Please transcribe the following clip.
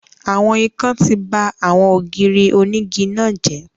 Àwọn ikán ti ba àwọn ògiri onígi náà jẹ́